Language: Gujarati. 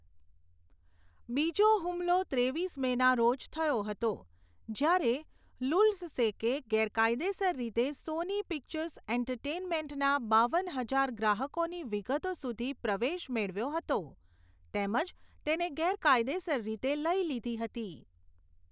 બીજો હુમલો ત્રેવીસ મેના રોજ થયો હતો, જ્યારે લુલ્ઝસેકે ગેરકાયદેસર રીતે સોની પિક્ચર્સ એન્ટરટેઈનમેન્ટના બાવન હજાર ગ્રાહકોની વિગતો સુધી પ્રવેશ મેળવ્યો હતી, તેમજ તેને ગેરકાયદેસર રીતે લઈ લીધી હતી.